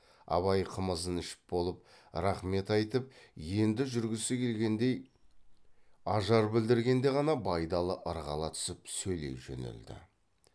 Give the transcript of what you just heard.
абай қымызын ішіп болып рақмет айтып енді жүргісі келгендей ажар білдіргенде ғана байдалы ырғала түсіп сөйлей жөнелді